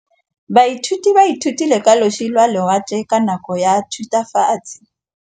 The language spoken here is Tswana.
Baithuti ba ithutile ka losi lwa lewatle ka nako ya Thutafatshe.